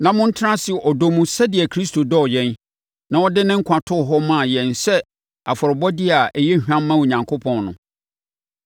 na motena ase ɔdɔ mu sɛdeɛ Kristo dɔɔ yɛn, na ɔde ne nkwa too hɔ maa yɛn sɛ afɔrebɔdeɛ a ɛyɛ hwam ma Onyankopɔn no.